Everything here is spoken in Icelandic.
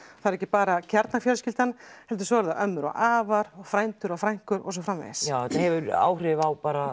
það er ekki bara kjarnafjölskyldan heldur svo eru það ömmur og afar frændur og frænkur og svo framvegis já þetta hefur áhrif á bara